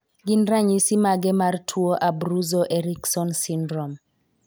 Gin ranyisi mage mar tuo Abruzzo Erickson syndrome?